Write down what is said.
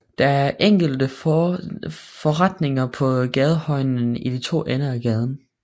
Der er enkelte forretninger på gadehjørnerne i de to ender af gaden